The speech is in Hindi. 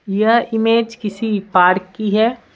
यह इमेज किसी पार्क की है।